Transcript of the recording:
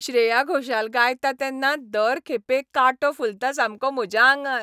श्रेया घोषाल गायता तेन्ना दर खेपे कांटो फुलता सामको म्हज्या आंगार.